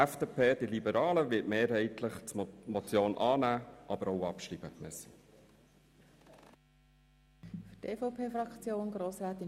Die FDP wird die Motion mehrheitlich annehmen und auch abschreiben.